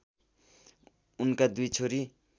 उनका दुई छोरी